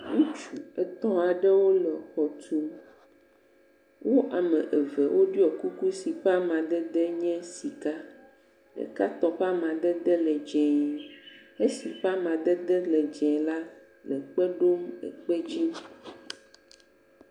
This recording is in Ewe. Ŋutsu etɔ̃ aɖewo le xɔ tum, wo ame eve ɖɔ kuku yi ƒe amadede nye sika, ɖeka tɔ ƒe amadede le dzɛ̃e, esi ƒe amadede le dzɛ̃e la, le kpe ɖom le kpe dzi.